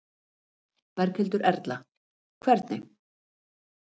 Berghildur Erla: Hvernig?